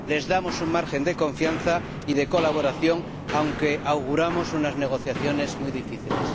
Les damos un margen de confianza y de colaboración, aunque auguramos unas negociaciones muy difíciles.